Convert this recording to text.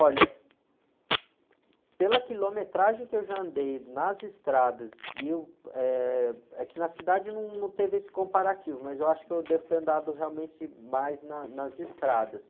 Olha, pela quilometragem que eu já andei nas estradas, e o, eh, é que na cidade não, não teve esse comparativo, mas eu acho que eu devo ter andado realmente mais na, nas estradas.